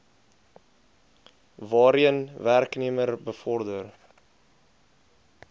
waarheen werknemer bevorder